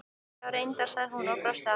Já, reyndar, sagði hún og brosti aftur.